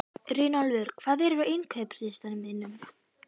Runólfur, hvað er á innkaupalistanum mínum?